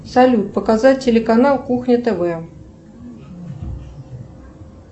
салют показать телеканал кухня тв